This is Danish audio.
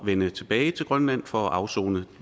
vende tilbage til grønland for at afsone